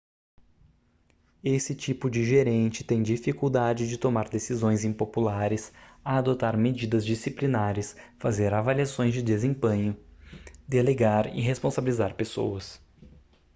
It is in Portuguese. esse tipo de gerente tem dificuldade de tomar decisões impopulares adotar medidas disciplinares fazer avaliações de desempenho delegar e responsabilizar pessoas